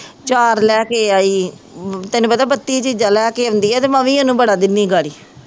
ਆਚਾਰ ਲੈ ਕੇ ਆਈ, ਤੈਨੂੰ ਪਤਾ ਬੱਤੀ ਚੀਜ਼ਾਂ ਲੈ ਕੇ ਆਉਂਦੀ ਹੈ ਅਤੇ ਮੈਂ ਵੀ ਉਹਨੂੰ ਬੜਾ ਦਿੰਦੀ ਹਾਂ ਅਗਾੜੀ